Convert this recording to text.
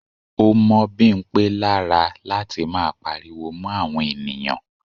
Ó mọ́ Bimpe lára láti máa pariwo mó àwọn ènìyàn.